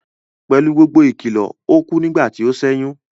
Pẹ̀lú gbogbo ìkìlọ̀, ó kú nígbà tí ó sẹ́yún